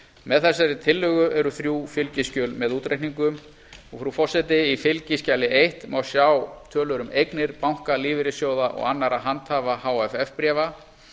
með þessari tillögu eru þrjú fylgiskjöl með útreikningum frú forseti í fskj eins má sjá tölur um eignir banka lífeyrissjóða og annarra handhafa hff bréfa